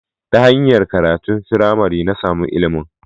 Ta hanyar karatun firamare, na samu ilimin